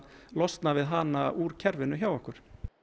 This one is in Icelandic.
losna við hana úr kerfinu hjá okkur